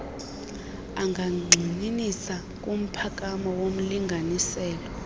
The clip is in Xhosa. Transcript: angagxininisa kumphakamo womlinganiselo